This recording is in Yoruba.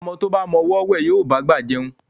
Ọmọ tó bá mọ ọwọ́ wẹ̀, á bá gbà jẹun